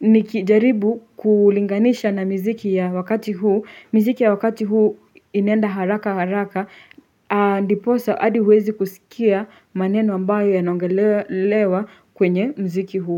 Nikijaribu kulinganisha na miziki ya wakati huu miziki ya wakati huu inaenda haraka haraka ndiposa hadi huwezi kusikia maneno ambayo yanaongelewa kwenye muziki huo.